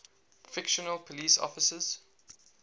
fictional police officers